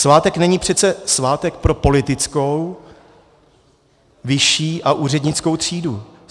Svátek není přece svátek pro politickou, vyšší a úřednickou třídu.